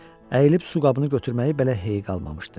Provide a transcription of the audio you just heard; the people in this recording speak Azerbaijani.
Əyilib su qabını götürməyi belə hey qalmamışdı.